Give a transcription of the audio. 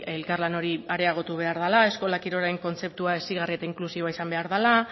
elkarlan hori areagotu behar dela eskola kirolaren kontzeptua hezigarria eta inklusiboa izan behar dela